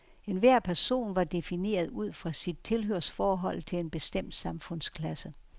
Enhver person var defineret ud fra sit tilhørsforhold til en bestemt samfundsklasse.